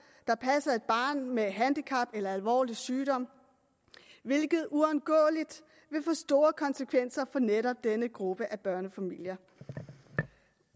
der passer et barn med handicap eller alvorlig sygdom hvilket uundgåeligt vil få store konsekvenser for netop denne gruppe af børnefamilier